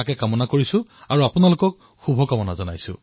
ঠিক সেইদৰে আগষ্ট মাহে ভাৰত ত্যাগৰ স্মৃতি সোঁৱৰণ কৰায়